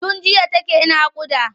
Tun jiya take naƙuda.